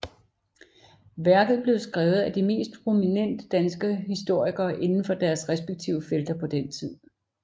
Værket blev skrevet af de mest prominente danske historikere indenfor deres respektive felter på den tid